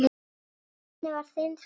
Hvernig var þinn fyrsti bíll?